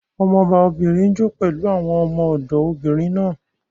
Ọmọba obìnrin n jó pẹ̀lú àwọn ọmọ-ọ̀dọ̀ obìnrin náà